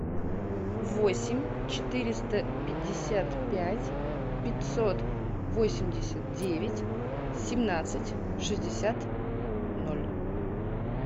восемь четыреста пятьдесят пять пятьсот восемьдесят девять семнадцать шестьдесят ноль